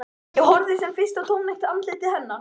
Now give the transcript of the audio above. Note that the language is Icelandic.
Ég horfði sem fyrr í tómlegt andlit hennar.